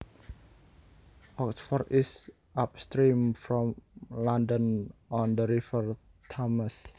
Oxford is upstream from London on the River Thames